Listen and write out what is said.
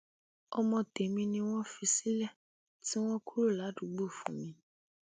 ọmọ tèmi ni wọn fi sílẹ tí wọn kúrò ládùúgbò fún mi